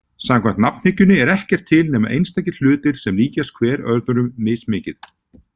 Samkvæmt nafnhyggjunni er ekkert til nema einstakir hlutir sem líkjast hver öðrum mismikið.